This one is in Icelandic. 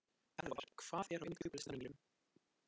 Eðvar, hvað er á innkaupalistanum mínum?